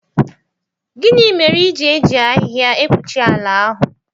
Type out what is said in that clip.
Gịnị mere i ji eji ahịhịa ekpuchi ala ahụ?